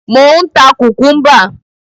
Mò ń ta kùkúḿbà.